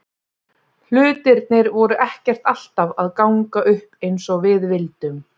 Hlutirnir voru ekkert alltaf að ganga upp eins og við vildum.